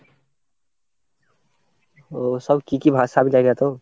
ওসব কি কি ভাষার জায়গা তো?